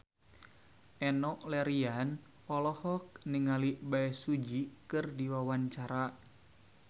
Enno Lerian olohok ningali Bae Su Ji keur diwawancara